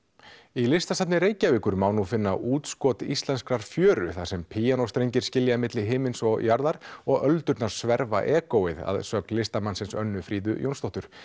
í Listasafni Reykjavíkur má nú finna útskot íslenskrar fjöru þar sem píanóstrengir skilja milli himins og jarðar og öldurnar sverfa egóið að sögn listamannsins Önnu Fríðu Jónsdóttur